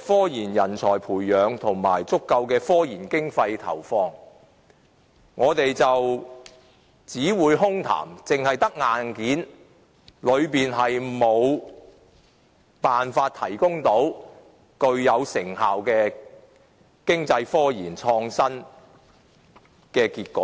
科研人才的培養及足夠的科研經費投放，將只流於空談，空有硬件而無法得出具成效的經濟科研和創新成果。